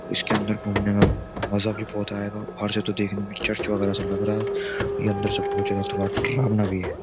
इसके अंदर घूमने में मजा भी बोहोत आएगा बाहर से तो देखने में चर्च वगैरह लग रहा है। यह अंदर से बोहोत ज्यादा थोड़ा डरावना भी है।